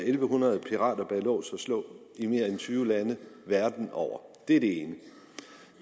en hundrede pirater bag lås og slå i mere end tyve lande verden over det er det ene